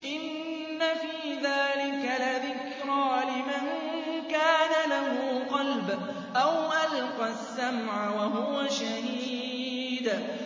إِنَّ فِي ذَٰلِكَ لَذِكْرَىٰ لِمَن كَانَ لَهُ قَلْبٌ أَوْ أَلْقَى السَّمْعَ وَهُوَ شَهِيدٌ